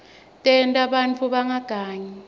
tenta bantfu bangagangi